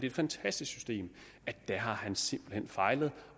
et fantastisk system simpelt hen fejlede